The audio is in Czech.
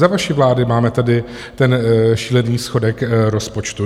Za vaší vlády máme tady ten šílený schodek rozpočtu.